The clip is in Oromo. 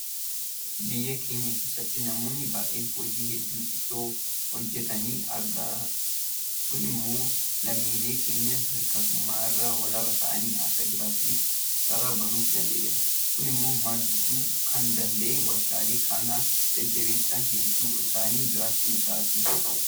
Biyya keenya keessatti namoonni baay'een hojii hedduu itoo hojjetanii agarra. Kun immoo lammiileen keenya hirkattummaa irraa walaba ta'anii akka jiraataniif carraa banuufii danda'eera. Kun immoo madduu kan danda'e warshaaleen kana jajjabeessan hedduun isaanii jiraachuu isaati.